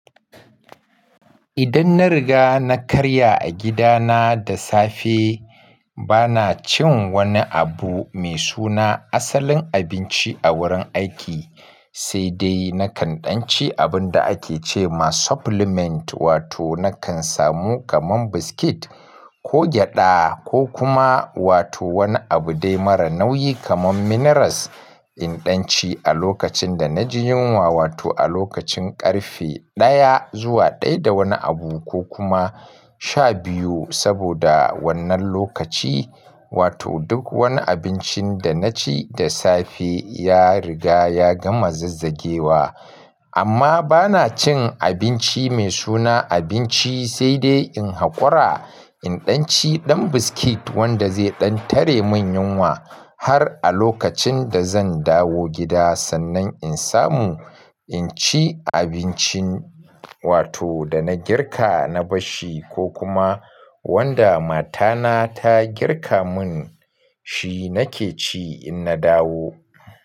Idan na riga na karya a gidana da safe, bana cin wani abu mai suna asalin abinci a wurin aiki, sai dai nakan ɗan ci abun da ake ce ma supplement wato nakan samu kamar biscuit ko gyaɗa ko kuma wato wani abu dai mara nauyi kamar minerals in ɗan ci a lokacin da na ji yunwa wato a lokacin ƙarfe ɗaya zuwa ɗaya da wani abu ko kuma shabiyu saboda wannan lokaci wato duk wani abincin da na ci da safe ya riga ya gama zazzagewa. Amma bana cin abinci mai suna abinci sai dai in haƙura in ɗan ci ɗan biscuit wanda zai ɗan tare min yunwa har a lokacin da zan dawo gida sannan in samu in ci abincin wato da na girka na bashi ko kuma wanda matana ta girka mun shi nake ci in na dawo.